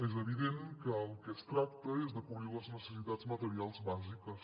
és evident que del que es tracta és de cobrir les necessitats materials bàsiques